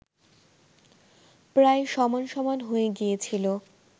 প্রায় সমান সমান হয়ে গিয়েছিল